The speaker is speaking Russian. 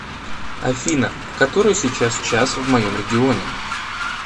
афина который сейчас час в моем регионе